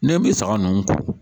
Ni n bɛ saga ninnu ko